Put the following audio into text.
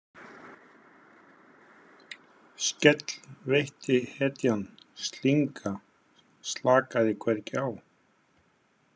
Skell veitti hetjan slynga slakaði hvergi á.